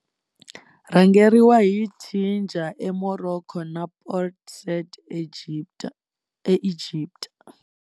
Rhangeriwa hi Tangier eMorocco na Port Said eEgipta.